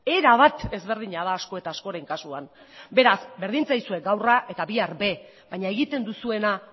erabat ezberdina da asko eta askoren kasuan beraz berdin zaizue gaur a eta bihar b baina egiten duzuena